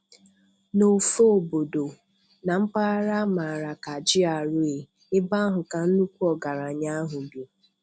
N'ofe obodo, na mpaghara a mara ka GRA, ebe ahụ ka nnukwu ọgaranya ahụ bi.